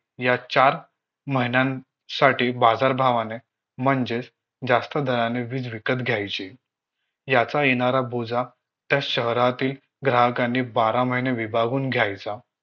या चार महिन्यांसाठी बाजारभावाने म्हणजेच जास्त दराने वीज विकत घ्यायची याचा येणारा बोजा त्या शहरातील ग्राहकांनी बारा महिने विभागून घ्यायचा